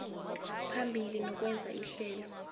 phambili nokwenza ihlelo